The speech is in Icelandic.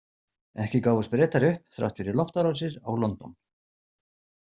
Ekki gáfust Bretar upp, þrátt fyrir loftárásir á London.